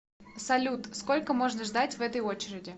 салют сколько можно ждать в этой очереди